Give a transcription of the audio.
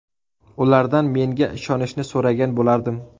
Ulardan menga ishonishni so‘ragan bo‘lardim.